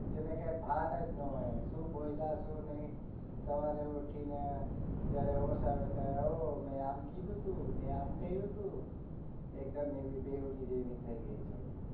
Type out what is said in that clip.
જેને કઈ ભાન જ ના હોય શું બોલ્યા શું નહિ સવારે ઉઠીને જયારે હોશ આવે ને ઓહ હો મેં આમ કીધું તું મેં આમ કહ્યું તું એકદમ એવી બેવડી જેવી થઇ ગયી છે તું